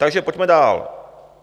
Takže pojďme dál.